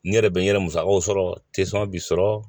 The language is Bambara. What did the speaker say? N yɛrɛ bɛ n yɛrɛ musakaw sɔrɔ b'i sɔrɔ